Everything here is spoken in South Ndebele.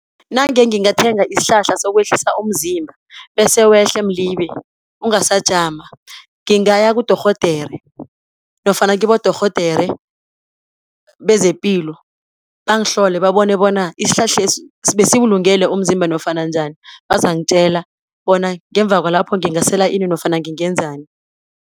Nange ngingathithenga isihlahla sokwehlisa umzimba bese wehle mlibe, ungasajama, ngingaya kudorhodere nofana kibodorhodere bezepilo, bangihlole babone bona isihlahlesi besibulungele umzimba nofana njani. Bazangitjela bona ngemva kwalapho ngingasela ini nofana ngingenzani.